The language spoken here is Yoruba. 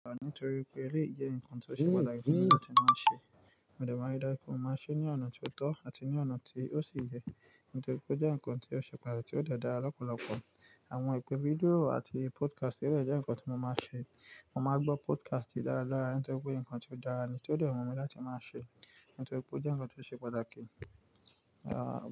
Nítorí pé eléyìí jẹ́ nǹkan tó ṣe pàtàkì fún mi láti máa ṣe. Mo dẹ̀ máa rí dájú pé mo máa ṣe é ní ọ̀nà ti tọ́ àti ní ọ̀nà tí ó sì yẹ, nítorí pé ó jẹ́ nǹkan ti o ṣe pàtàkì ti ó de dára lọ́pọ̀lọpọ̀. Àwọn ìpè fídíò àti podcast ẹlẹ́yìí jẹ́ nǹkan ti mo máa ń ṣe. Mo máa ngbọ́ podcast dáradára nítorí pé nǹkan ti ó dára ni tí ó de wú mi láti máa ṣe, nítorí pé ó jẹ́ nǹkan tió ṣe pàtàkì.